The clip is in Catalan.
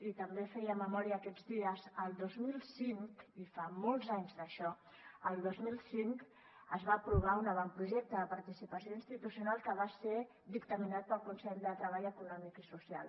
i també feia memòria aquests dies el dos mil cinco i fa molts anys d’això es va aprovar un avantprojecte de participació institucional que va ser dictaminat pel consell de treball econòmic i social